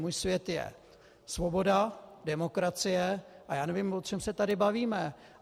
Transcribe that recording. Můj svět je svoboda, demokracie, a já nevím, o čem se tady bavíme.